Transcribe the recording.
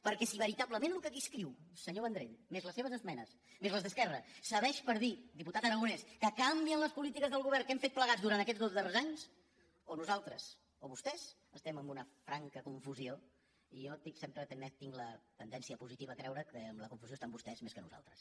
perquè si veritablement el que aquí escriu senyor vendrell més les seves esme·nes més les d’esquerra serveix per dir diputat ara·gonès que canvien les polítiques del govern que hem fet plegats durant aquests dos darrers anys o nosaltres o vostès estem en una franca confusió i jo sempre tinc la tendència positiva a creure que en la confusió estan vostès més que nosaltres